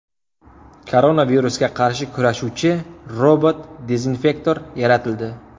Koronavirusga qarshi kurashuvchi robot-dezinfektor yaratildi.